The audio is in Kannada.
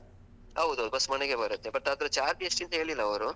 ಹೌದೌದ್, ಬಸ್ ಮನೆಗೆ ಬರುತ್ತೆ but ಅದ್ರ charge ಎಷ್ಟು ಅಂತ ಹೇಳಿಲ್ಲ ಅವರು.